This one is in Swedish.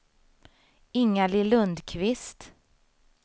Ingalill Lundqvist